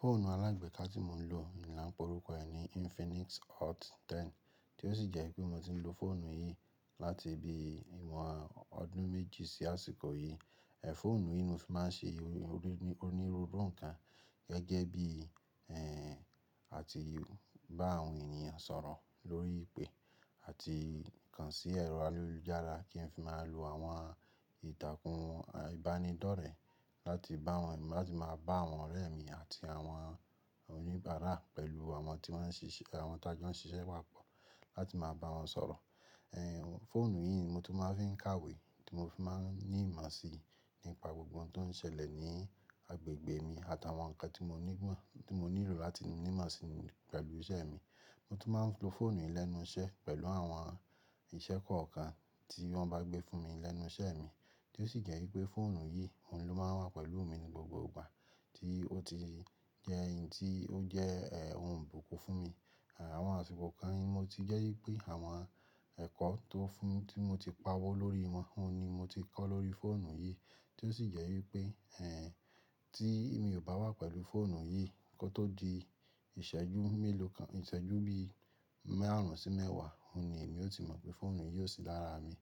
Fóònù alágbèéká tí mo ń lò ni lá ń porúkọ ẹ̀ ni Infinix Hot 10, tí ó sì jẹ́ wípé mo ti ń lo fóònù yìí láti bí i ìwọ̀n ọdún méjì sí àsìkò yìí. Ẹ̀fóònù yìí ni mo fi máa ń ṣe onírúurú nǹkan gẹ́gẹ́ bí i, ẹ́, àti bá àwọn ènìyàn sọ̀rọ̀ lórí ìpè àti kàn sí ẹ̀rọ ayélujára kí n fi máa lo àwọn ìtàkùn ìbánidọ́rẹ̀ẹ́ láti bá wọn, láti máa bá àwọn ọ̀rẹ́ mi àti àwọn oníbàárà pẹ̀lú àwọn tí wọ́n ń ṣiṣẹ́, àwọn tí a jẹ́ ń ṣiṣẹ́ wà pọ̀ láti máa bá wọn sọ̀rọ̀. Ẹ̀fóònù yìí ni mo tún máa ń fi kàwé, tí mo fi máa ń ní ìmọ̀ sí nípa gbogbo ohun tó ń ṣẹlẹ̀ ní agbègbè mi àtàwọn nǹkan tí mo ní mo tí mo nílò láti ní ìmọ̀ sí pẹ̀lú iṣẹ́ mi. Mo tún máa ń lo fóònù yìí lẹ́nu iṣẹ́ pẹ̀lú àwọn ìṣẹ́ kọ̀ọ̀kan tí wọ́n bá gbé fún mi lẹ́nu iṣẹ́ mi, tí ó sì jẹ́ wípé fóònù yìí, òun ló máa ń wà pẹ̀lú mi ní gbogbo ìgbà tí ó ti jẹ́ eyín tí ó jẹ́, ẹ́, ohun bùkún fún mi. Àwọn àsìkò kan ni mo ti jẹ́ wípé àwọn ẹ̀kọ́ tó fún, tí mo ti pawó lórí wọn, òun ni mo ti kọ́ lórí fóònù yìí, tí ó sì jẹ́ wípé, ẹ́, tí èmi ò bá wà pẹ̀lú fóònù yìí kó tó di ìṣẹ́jú mélòó kan, ìṣẹ́jú bí i márùn-ún sí mẹ́wàá, òun ni èmi ó ti mọ̀ pé fóònù yìí ò sí lára mi.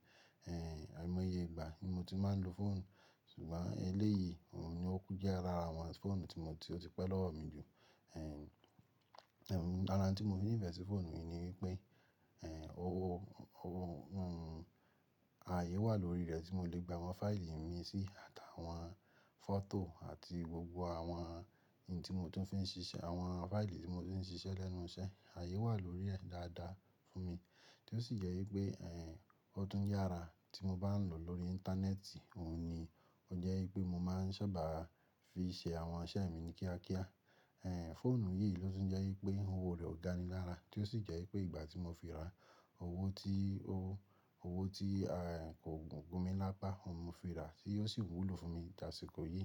Ẹ̀, àìmọye ìgbà ni mo ti máa ń lo fóònù, ṣùgbọ́n eléyìí òun ni ó kú jẹ́ ara àwọn fóònù tí mo ti, ó ti pẹ́ lọ́wọ́ mi jù. Ẹ̀, ẹ́, lára nttí mo fi nífẹ̀ẹ́ sí fóònù mi ni wípé, ẹ́, owó, owó, òun, ààyè wà lórí rẹ̀ tí mo lè gba àwọn fáìlì mi sí àtàwọn fọ́tò àti gbogbo àwọn ohun tí mo tún fi ń ṣiṣẹ́, àwọn fáìlì tí mo ti ń ṣiṣẹ́ lẹ́nu iṣẹ́, ààyè wà lórí rẹ̀ dáadáa fún mi, tí ó sì jẹ́ wípé, ẹ́, ó tún yára tí mo bá ń lò lórí íńtánẹ́ẹ̀tì, òun ni ó jẹ́ wípé mo máa ń sábà fi ṣe àwọn iṣẹ́ mi ní kíákíá. Ẹ̀, fóònù yìí ló tún jẹ́ wípé òwoò rẹ̀ ò gani lára, tí ó sì jẹ́ wípé ìgbà tí mo fi ra, owó tí owó, owó tí, ẹ́, kò gún mi lápá, òun mo fi ra tí ó sì wúlò fún mi àsìkò yìí.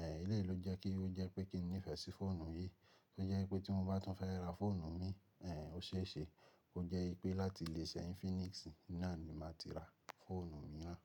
Ẹ̀, ilé ló jẹ́ kí ó jẹ́ pé kíni nífẹ̀ẹ́ sí fóònù yìí, ó jẹ́ wípé tí mo bá tún fẹ́ ra fóònù mi, ẹ́, ó ṣeé ṣe kó jẹ́ wípé láti ilé-iṣẹ́ Infinix náà ni màá ti ra fóònù mi náà.